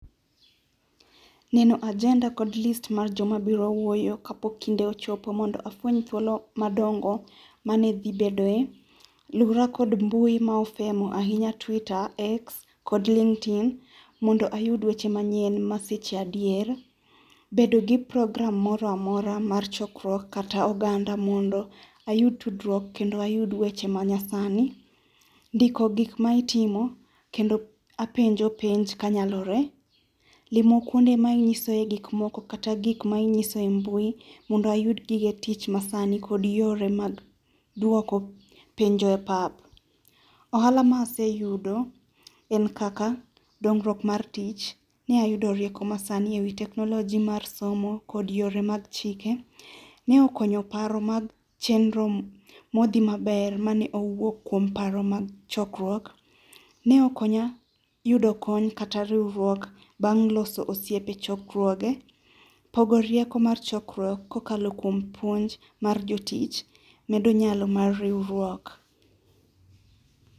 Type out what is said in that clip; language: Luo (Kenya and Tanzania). Neno agenda kod list mar joma biro wuoyo kapok kinde ochopo mondo afweny thuolo madongo mane dhi bedo e. Lura kod mbui ma ofemo ahinya Twitter, X kod Linkedin mondo ayud weche manyien ma seche adier. Bedo gi program moro amora mar chokruok kata oganda mondo ayud tudruok kata ayud weche ma nyasani. Ndiko gik ma itimo kendo apenjo penj ka nyalore, limo kuonde ma inyiso e mbui mondo ayud gige tich ma sani kod yore mag duoko penjo e pap. Ohala ma aseyudo en kaka dongruok mar tich, ne ayudo rieko ma sani ewi technology mar somo kod yore mar chike. Ne okonyo paro mag chenro modhi maber mane owuok kuom paro mar chokruok. Ne okonya yudo kony kata riwruok bang' loso osiepe chokruoge, pogo rieko mar chokruok kokalo kuom puonj mar jotich medo nyalo mar riwruok.